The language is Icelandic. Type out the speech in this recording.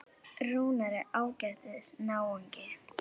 Rúnar er ágætis náungi.